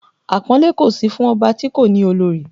Àpọ́nlé kò sí fún ọba ti kò ni olori